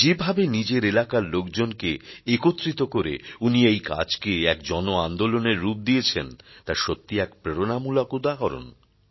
যেভাবে নিজের এলাকার লোকজনকে একত্রিত করে উনি এই কাজকে এক জন আন্দোলনের রূপ দিয়েছেন তা সত্যিই এক প্রেরণামূলক উদাহরণ